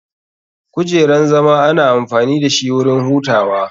Kujeran zama ana amfani dashi wurin hutawa.